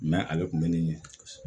ale tun bɛ nin ɲɛ